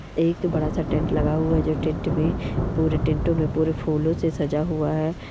एक बड़ा सा टेंट लगा हुआ है जो टेंट मे पूरे टेंटों मे पूरे फूलों से सजा हुआ है।